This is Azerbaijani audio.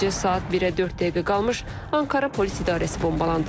Gecə saat 1-ə 4 dəqiqə qalmış Ankara Polis İdarəsi bombalandı.